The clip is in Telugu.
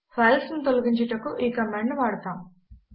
ఫైల్స్ ను తొలగించుటకు ఈ కామాండ్ ను వాడతాము